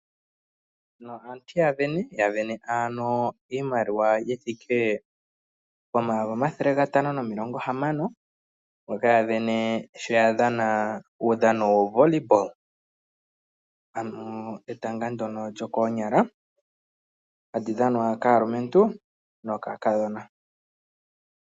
Aantu yavene iimaliwa yithike pomayovi gatano nomilongo hamano mboka yavene sho yadhana uudhano wetaga lyokoonyala hali dhanwa kaalumentu nokaankiintu.